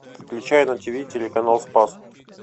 включай на тиви телеканал спас